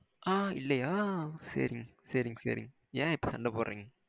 ஆ இல்லையா? ஆ சேரிங்க சேரிங்க சேரிங்க. என் இப்போ சண்டை போடுறிங்க?